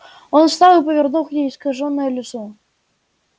он встал и повернул к ней искажённое лицо